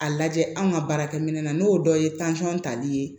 A lajɛ anw ka baarakɛminɛ na n'o dɔ ye tansɔn tali ye